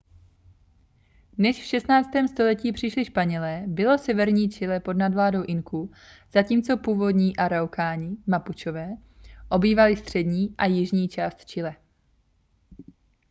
než v 16. století přišli španělé bylo severní chile pod nadvládou inků zatímco původní araukáni mapučové obývali střední a jižní část chile